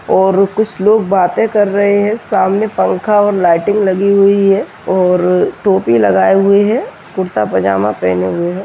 और कुछ लोग बातें कर रहे है सामने पंखा और लाइटिंग लगी हुई है और टोपी लगाए हुए है कुर्ता पाजामा पहने हुए हैं।